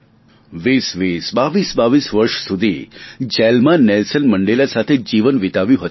વીસવીસ બાવીસબાવીસ વર્ષ સુધી જેલમાં નેલ્સન મંડેલા સાથે જીવન વીતાવ્યું હતું